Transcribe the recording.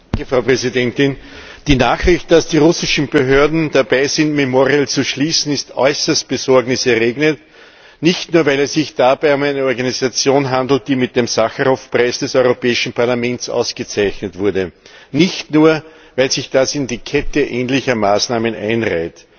Frau Präsidentin! Die Nachricht, dass die russischen Behörden dabei sind, Memorial zu schließen, ist äußerst besorgniserregend, nicht nur, weil es sich dabei um eine Organisation handelt, die mit dem Sacharow Preis des Europäischen Parlaments ausgezeichnet wurde, und nicht nur, weil sich das in die Kette ähnlicher Maßnahmen einreiht.